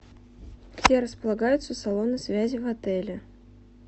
где располагаются салоны связи в отеле